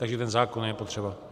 Takže ten zákon je potřeba.